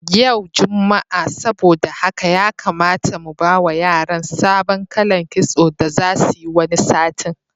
Ya jumma'a saboda haka ya kamata mu bawa yaran sabon kalan kitso da zasu yi wani satin.